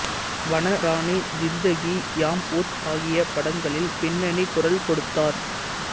வனராணி ஜிந்தகி யாம்வுத் ஆகிய படங்களில் பின்னணிக் குரல் கொடுத்தார்